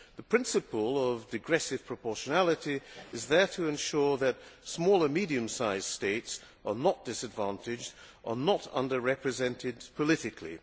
The principle of digressive proportionality is there to ensure that small and medium sized states are not disadvantaged, and are not under represented politically.